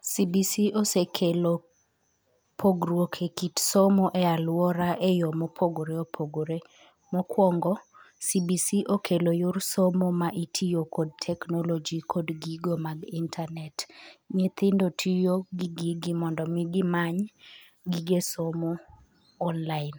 CBC osekelo pogruok ekit somo e aluora eyoo mopogogore opogore. Mokuongo, cbc okelo yor somo ma itiyo kod technology kod gigo mag internet. Nyithindo tiyo gi gigi mondo mi gimany gige somo online.